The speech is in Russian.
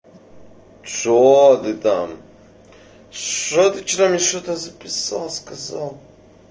что ты там что ты вчера мне что-то записал сказал